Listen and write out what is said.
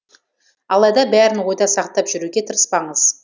алайда бәрін ойда сақтап жүруге тырыспаңыз